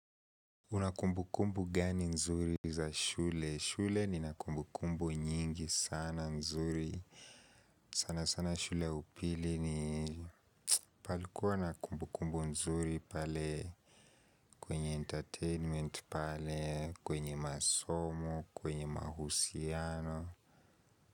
Unakumbu kumbu gani nzuri za shule? Shule ninakumbu kumbu nyingi sana nzuri. Sana sana shule ya upili ni palikuwa na kumbu kumbu nzuri pale kwenye entertainment pale kwenye masomo kwenye mahusiano.